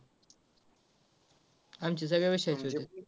आमचे सगळ्या विषयांचे होतात.